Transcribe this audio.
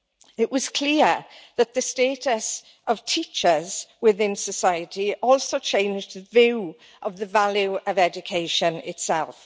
It was clear that the status of teachers within society also changed the view of the value of education itself.